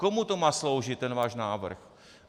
Komu to má sloužit, ten vás návrh?